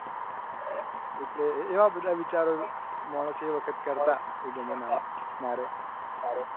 એટલે એવા બધા વિચારો માણસ એ વખત કરતા.